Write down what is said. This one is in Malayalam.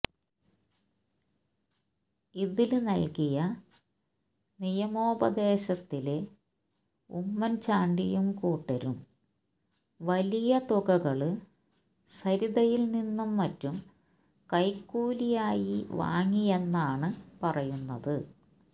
ഇതില് നല്കിയ നിയമോപദേശത്തില് ഉമ്മന് ചാണ്ടിയും കൂട്ടരും വലിയ തുകകള് സരിതയില്നിന്നു മറ്റും കൈക്കൂലിയായി വാങ്ങിയെന്നാണ് പറയുന്നത്